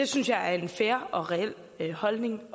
synes jeg er en fair og reel holdning